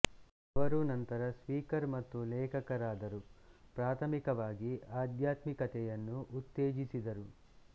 ಅವರು ನಂತರ ಸ್ಪೀಕರ್ ಮತ್ತು ಲೇಖಕರಾದರು ಪ್ರಾಥಮಿಕವಾಗಿ ಆಧ್ಯಾತ್ಮಿಕತೆಯನ್ನು ಉತ್ತೇಜಿಸಿದರು